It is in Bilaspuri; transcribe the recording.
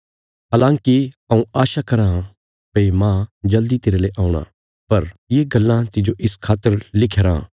हलाँकि हऊँ आशा कराँ भई मांह जल्दी तेरले औणा पर ये गल्लां तिज्जो इस खातर लिखया राँ